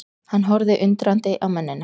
Hann horfði undrandi á mennina.